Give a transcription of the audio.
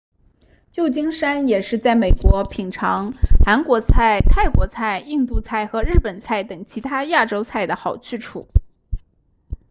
旧金山也是在美国品尝韩国菜泰国菜印度菜和日本菜等其他亚洲菜的好去处